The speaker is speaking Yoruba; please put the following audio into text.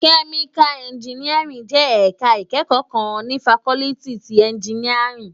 Kèmíká ènjìníárìn jè èká ikèékò kán ni fákòlìtí ti ènjìníárìn